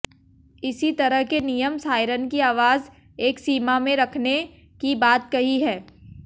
इसी तरह के नियम सायरन की आवाज एक सीमा में रखने की बात कही है